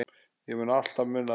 Ég mun alltaf muna þetta.